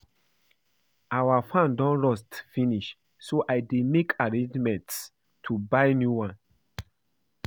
Our fan don rust finish so I dey make arrangements to buy new one